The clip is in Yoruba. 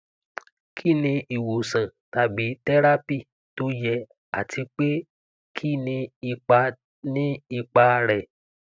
kí ni ìwòsàn tàbí tẹrápì tó yẹ àti pé kí ni ipa ni ipa rẹ